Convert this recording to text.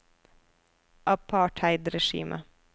apartheidregimet